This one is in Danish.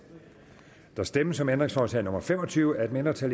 der stemmes om ændringsforslag nummer fem og tyve af et mindretal